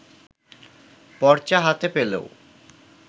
পর্চা হাতে পেলেও